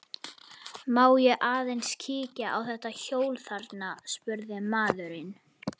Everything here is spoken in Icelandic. Má ég aðeins kíkja á þetta hjól þarna, spurði maðurinn.